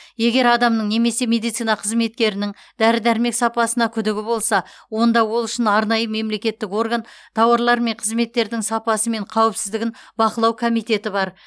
егер адамның немесе медицина қызметкерінің дәрі дәрмек сапасына күдігі болса онда ол үшін арнайы мемлекеттік орган тауарлар мен қызметтердің сапасы мен қауіпсіздігін бақылау комитеті бар